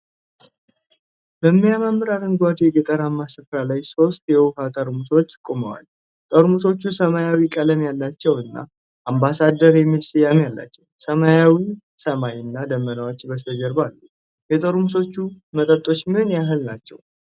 በሚያማምር አረንጓዴ ገጠራማ ስፍራ ላይ ሦስት የውሃ ጠርሙሶች ቆመዋል። ጠርሙሶቹ ሰማያዊ ቀለም ያላቸው እና 'አምባሳደር' የሚል ስያሜ አላቸው። ሰማያዊ ሰማይ እና ደመናዎች በስተጀርባ አሉ። የጠርሙሶቹ መጠኖች ምን ያህል ናቸው?